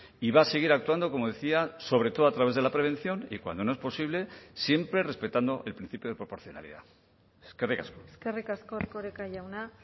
y va a seguir actuando como decía sobre todo a través de la prevención y cuando no es posible siempre respetando el principio de proporcionalidad eskerrik asko eskerrik asko erkoreka jauna